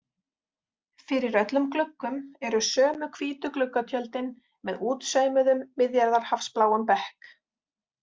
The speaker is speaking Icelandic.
Fyrir öllum gluggum eru sömu hvítu gluggatjöldin með útsaumuðum, Miðjarðarhafsbláum bekk.